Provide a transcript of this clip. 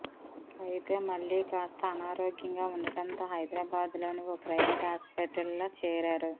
అయితే మళ్లీ కాస్త అనారోగ్యంగా వుండటంతో హైదరాబాద్ లోని ఓ ప్రైవేట్ హాస్పిటల్లో చేరారు